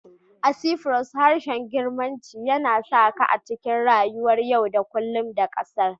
A Cyprus, harshen Girkanci yana saƙa a cikin rayuwar yau da kullum na ƙasar